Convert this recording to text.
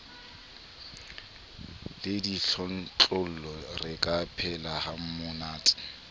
le ditlontlollo re ka phelahamonate